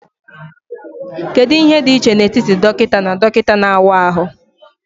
Kedu ihe dị iche n'etiti dọkịta na dọkịta na-awa ahụ?